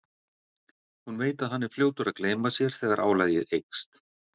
Hún veit að hann er fljótur að gleyma sér þegar álagið eykst.